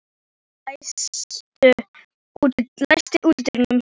Valentína, læstu útidyrunum.